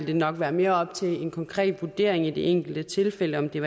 det nok være mere op til en konkret vurdering i de enkelte tilfælde om det